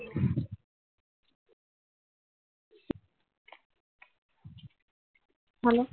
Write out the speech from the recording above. હાલો